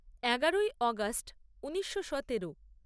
এগারোই অগাস্ট ঊনিশো সতেরো